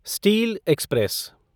steel express